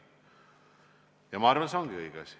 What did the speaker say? Ja ma arvan, et see ongi õige asi.